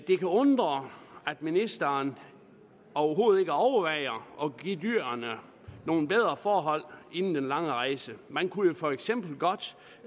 det kan undre at ministeren overhovedet ikke overvejer at give dyrene nogle bedre forhold inden den lange rejse man kunne jo for eksempel godt